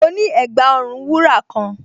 Mo ní ẹ̀gbà-ọrùn wúrà kan